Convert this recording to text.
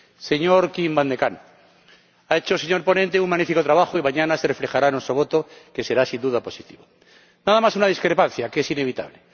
Señor Wim van de Camp, ha hecho el señor ponente un magnífico trabajo y mañana se reflejará en nuestro voto, que será sin duda positivo. Nada más una discrepancia, que es inevitable.